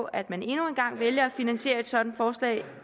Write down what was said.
at man endnu en gang vælger at finansiere et sådant forslag